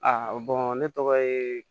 A ne tɔgɔ ye